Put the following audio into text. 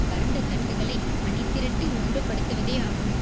பரந்த தட்டுகளை அணிதிரட்டி ஒன்றுபடுத்துவதேயாகும்